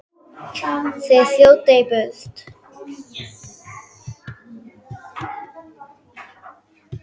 Þeir þjóta í burtu.